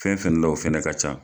Fɛn fɛn la o fɛnɛ ka ca.